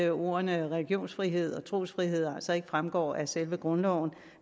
at ordene religionsfrihed og trosfrihed altså ikke fremgår af selve grundloven